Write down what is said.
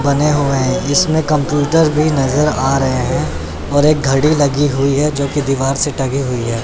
बने हुए हैं इसमें कंप्यूटर भी नज़र आ रहे हैं और एक घड़ी लगी हुई है जो कि दीवार से दीवार से टंगी हुई है।